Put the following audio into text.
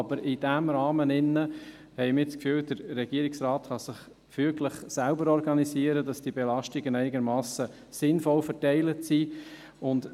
Wir haben aber das Gefühl, in diesem Rahmen könne sich der Regierungsrat füglich selbst organisieren, sodass die Belastungen einigermassen sinnvoll verteilt sind.